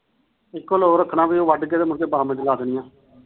ਇਕੋ ਲੋ ਰੱਖਣਾ ਉਹ ਵੱਡ ਕੇ ਤੇ